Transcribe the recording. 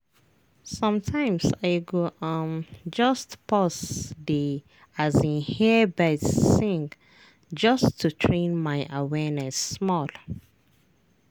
sometimes i go um just pause dey um hear birds sing just to train my awareness small.